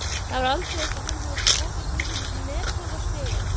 Það var aldeilis að hann hafði skotist upp metorðastigann.